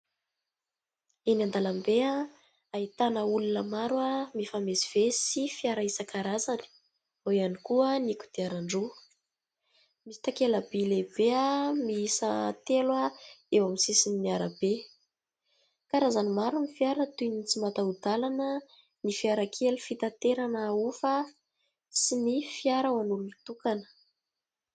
Eny an-dalambe ahitana olona maro mifamezivezy sy fiara isankarazany, eo ihany koa ny kodiaran-droa, misy takela-by lehibe miisa telo eo amin'ny sisiny arabe, karazany maro ny fiara toy ny tsy mataho-dalana, ny fiara kely fitaterana ahofa sy ny fiara ho an'olon-tokana.